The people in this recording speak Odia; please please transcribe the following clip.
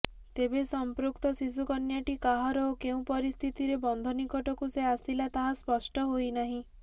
ତେବେ ସଂପୃକ୍ତ ଶିଶୁକନ୍ୟାଟି କାହାର ଓ କେଉଁ ପରିସ୍ଥିତିରେ ବନ୍ଧ ନିକଟକୁ ସେ ଆସିଲା ତାହା ସ୍ପଷ୍ଟ ହୋଇନାହିଁ